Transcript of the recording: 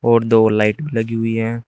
और दो लाइट लगी हुई है।